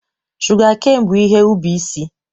Shụgakein bụ ihe ubi isi.